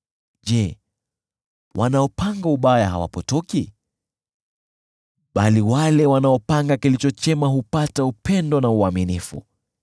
Je, wale wanaopanga ubaya hawapotoki? Bali wale wanaopanga kilicho chema hupata upendo na uaminifu.